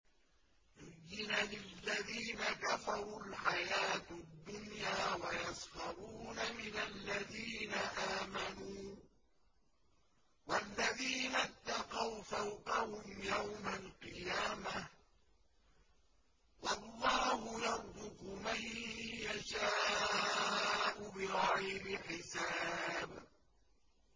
زُيِّنَ لِلَّذِينَ كَفَرُوا الْحَيَاةُ الدُّنْيَا وَيَسْخَرُونَ مِنَ الَّذِينَ آمَنُوا ۘ وَالَّذِينَ اتَّقَوْا فَوْقَهُمْ يَوْمَ الْقِيَامَةِ ۗ وَاللَّهُ يَرْزُقُ مَن يَشَاءُ بِغَيْرِ حِسَابٍ